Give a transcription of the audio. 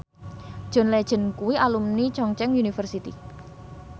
John Legend kuwi alumni Chungceong University